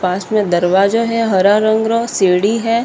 पास में दरवाजा है हरे रंग रो सिडी है।